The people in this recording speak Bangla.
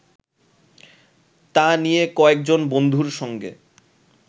তা নিয়ে কয়েকজন বন্ধুর সঙ্গে